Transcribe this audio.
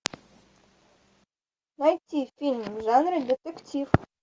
найти фильм в жанре детектив